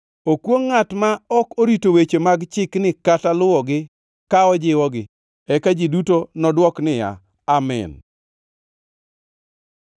“Okwongʼ ngʼat ma ok orito weche mag chikni kata luwogi ka ojiwogi.” Eka ji duto nodwok niya, “Amin!”